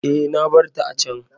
E, na bar ta a can.